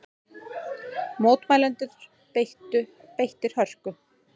Mótmælendur beittir hörku